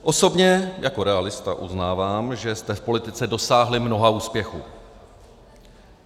Osobně jako realista uznávám, že jste v politice dosáhli mnoha úspěchů.